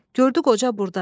Gördü qoca burdadır.